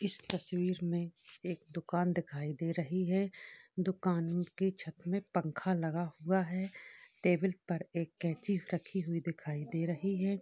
इस तस्वीर में एक दुकान दिखाई दे रही है दुकान के छत में पंखा लगा हुआ है | टेबल पर एक कैंची रखी हुई दिखाई दे रही है |